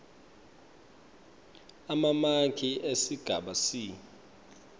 emamaki esigaba c